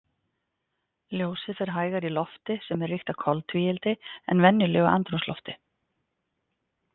Ljósið fer hægar í lofti sem er ríkt af koltvíildi, en venjulegu andrúmslofti.